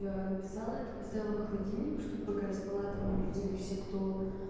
написала это поставила в холодильник чтобы пока я спала там не видели все кто